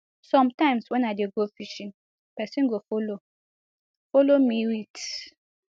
sometimes wen i dey go fishing pesin go follow follow me wit